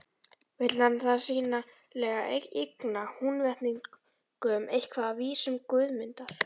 Vill hann þar sýnilega eigna Húnvetningum eitthvað af vísum Guðmundar.